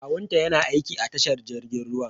Kawunta yana aiki a tashar jirgin ruwan.